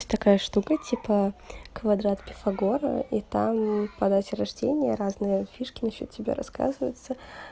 это такая штука типа квадрат пифагора и там по дате рождения разные фишки насчёт тебя рассказываются